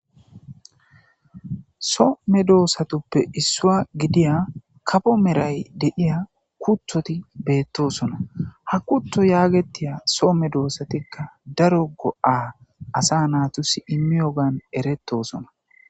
soo medoossatuppe issuwa gidiya kapo meray de7iya kuthoti beettosona ha kuto yaagetiya so medoossatikka daro go7aa asa naatus immiyogan erettosona.